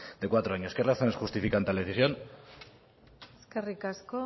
de cuatro años qué razones justifican tal decisión eskerrik asko